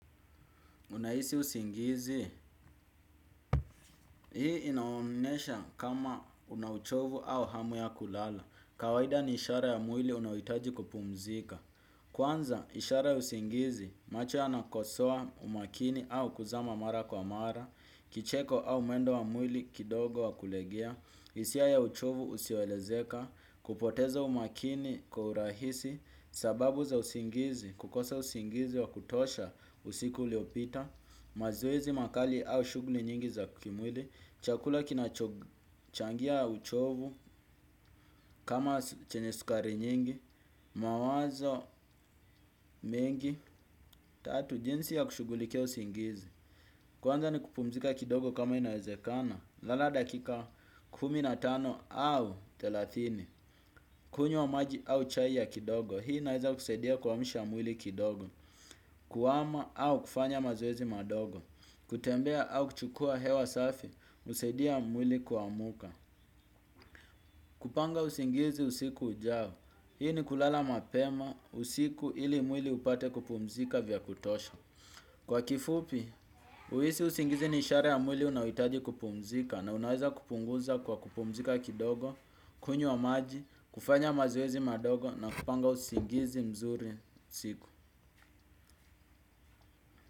Unahisi usingizi, hii inaonesha kama una uchovu au hamu ya kulala, kawaida ni ishara ya mwili unaoitaji kupumzika. Kwanza, ishara ya usingizi, macho yanakosoa umakini au kuzama mara kwa mara, kicheko au mwendo wa mwili kidogo wa kulegea, hisia ya uchovu usioelezeka, kupoteza umakini kwa uhurahisi, sababu za usingizi, kukosa usingizi wa kutosha usiku uliopita, mazoezi makali au shuguli nyingi za kimwili chakula kinachochangia uchovu kama chenye sukari nyingi mawazo mingi tatu jinsi ya kushugulikia usingizi kwanza ni kupumzika kidogo kama inawezekana lala dakika kumi na tano au thelathini kunywa maji au chai ya kidogo hii inaweza kusaidia kuamsha mwili kidogo kuwama au kufanya mazoezi madogo kutembea au kuchukua hewa safi. Usaidia mwili kuamuka. Kupanga usingizi usiku ujao. Hii ni kulala mapema usiku ili mwili upate kupumzika vya kutosha. Kwa kifupi, uhisi usingizi ni ishara ya mwili unayoitaji kupumzika. Na unaweza kupunguza kwa kupumzika kidogo. Kunywa maji, kufanya mazoezi madogo na kupanga usingizi mzuri usiku.